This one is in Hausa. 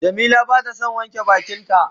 Jamila bata son wanke bakin ta.